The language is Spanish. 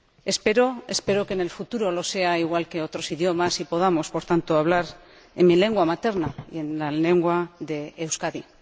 Espero que, en el futuro, lo sea igual que otros idiomas y que podamos, por tanto, hablar en mi lengua materna y en la lengua de Euskadi.